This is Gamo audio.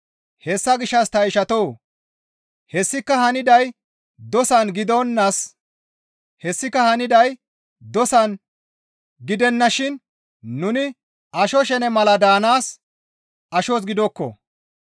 Hessa gishshas ta ishatoo! Hessika hananay dosan gidennashin nuni asho shene mala daanaas ashos gidokko.